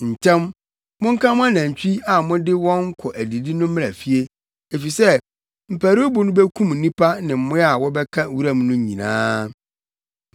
Ntɛm! Monka mo anantwi a mode wɔn kɔ adidi no mmra fie. Efisɛ mparuwbo no bekum nnipa ne mmoa a wɔbɛka wuram no nyinaa.”